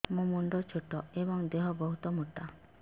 ମୋ ମୁଣ୍ଡ ଛୋଟ ଏଵଂ ଦେହ ବହୁତ ମୋଟା